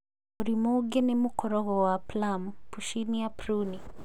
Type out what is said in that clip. Mũrimũ ũngĩ nĩ mũkorogo wa plum (Puccinia pruni)